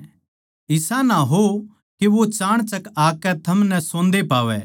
इसा ना हो के वो चाणचक आकै थमनै सोंदे पावै